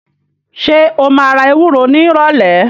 Ṣé o máa ra ewúro nírọ̀lẹ̀?